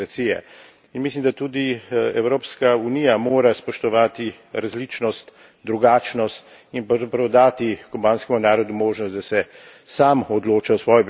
In mislim, da tudi Evropska unija mora spoštovati različnost, drugačnost in pravzaprav dati kubanskemu narodu možnost, da se sam odloči o svoji prihodnosti.